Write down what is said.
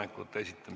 Suur tänu!